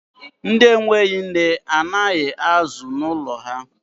Ndi enweghi nne, a na-ana azụ n'ụlọ ha?